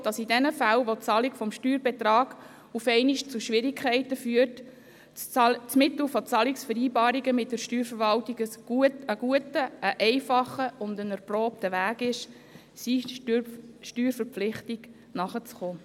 Die BDP glaubt, dass in den Fällen, in welchen die Bezahlung des Steuerbetrags zu Schwierigkeiten führt, das Mittel der Zahlungsvereinbarungen mit der Steuerverwaltung einen guten, einfachen und erprobten Weg darstellt, um den Steuerverpflichtungen nachzukommen.